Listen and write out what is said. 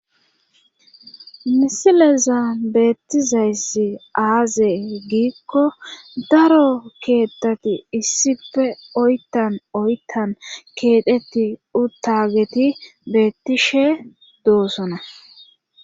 Misileza beettizayssi aaze giikko daro keettati issife oyttan oyttan keetetti uttageti beettishe doosona